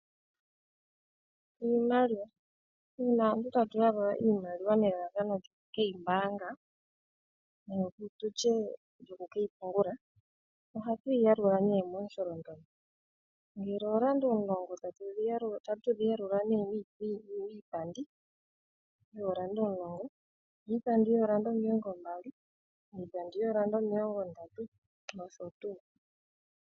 Iimaliwa, uuna aantu tatu yalula iimaliwa nelalakano lyoku ke yi mbaanga nenge tutye lyoku ke yi pungula ohatu yi yalula ne momusholondondo, ngele oolanda omulongo otatu dhi yalula nee miipandi yoolanda omulongo, miipandi yoolanda omilongo mbali, miipandi yoolanda omilongo ndatu nosho tuu.